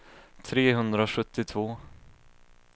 trehundrasjuttiotvå